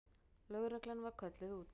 Lögreglan var kölluð út.